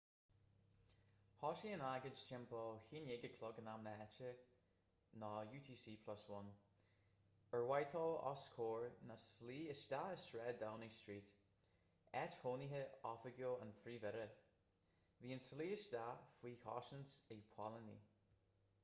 thosaigh an agóid timpeall 11:00 am na háite utc+1 ar whitehall os comhair na slí isteach i sráid downing street áit chónaithe oifigiúil an phríomh-aire. bhí an tslí isteach faoi chosaint ag póilíní